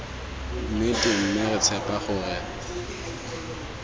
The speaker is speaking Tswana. nnete mme re tshepa gore